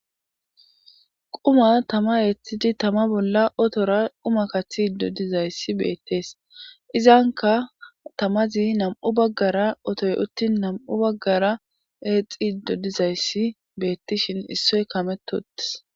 Quma tama eeththidi tama bolla otora quma kathi iddo dizayssi beettees izanka tamazi nam7u baggara otoy uttin nam7u baggara eexxi iddo dizayssi beettishin issoy kameto uttes.